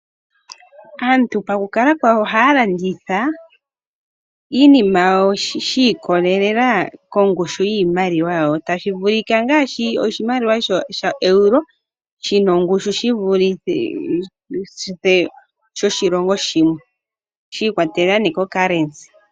Aantu pa ku kala kwawo ohaa landitha iinima yawo shi ikololela kongushu yiimaliwa yawo, tashi vulika ngaashi oshimaliwa sho shaEuro shi na ongushu shi vulithe shoshilongo shi, shiikwatelela neah ko currency.